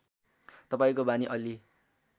तपाईँको बानी अलि